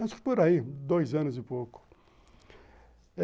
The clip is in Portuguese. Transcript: Acho que por aí, dois anos e pouco.